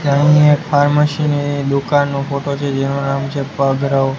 અહીં એક ફાર્મસી ની દુકાનનો ફોટો છે જેનુ નામ છે ભાગરવ .